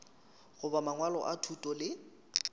goba mangwalo a thuto le